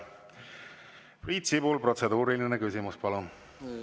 Priit Sibul, protseduuriline küsimus, palun!